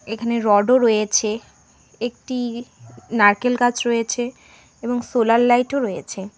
এখানে রডও রয়েছে একটি নারকেল গাছ রয়েছে এবং সোলার লাইটও রয়েছে।